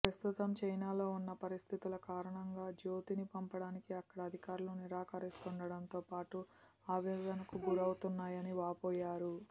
ప్రస్తుతం చైనాలో ఉన్న పరిస్థితుల కారణంగా జ్యోతిని పంపడానికి అక్కడ అధికారులు నిరాకరిస్తుండటంతో తాము ఆవేదనకు గురవుతున్నాయని వాపోయారు